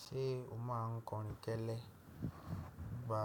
Ṣé o má a ń kọrin kẹ́lẹ́? Ìgbà